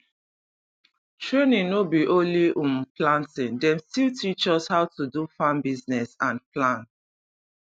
training no be only um planting dem still teach us how to do farm business and plan